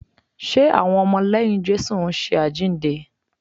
Ṣe àwọn ọmọ lẹ́yìn Jésù ń ṣe àjíǹde?